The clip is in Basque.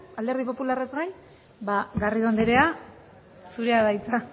alderdi popularraz gain ba garrido anderea zurea da hitza